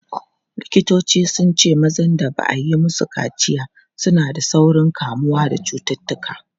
Likitoci sun ce mazan da ba a yi musu kaciya suna da saurin kamuwa da cututtuka.